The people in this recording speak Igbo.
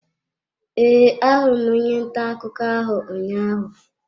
E, ahụrụ onye ntà akụkọ ahụ ụnyaahụ.